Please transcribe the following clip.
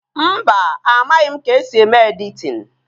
Mba, amaghị m ka-esi eme editin